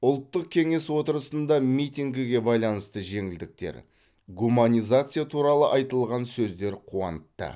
ұлттық кеңес отырысында митингіге байланысты жеңілдіктер гуманизация туралы айтылған сөздер қуантты